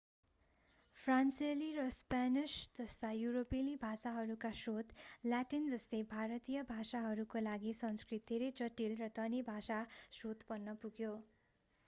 फ्रान्सेली र स्पेनिश जस्ता युरोपेली भाषाहरूका स्रोत ल्याटिन जस्तै भारतीय भाषाहरूका लागि संस्कृत धेरै जटिल र धनी भाषा स्रोत बन्न पुग्यो